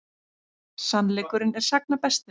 Sannleikurinn er sagna bestur.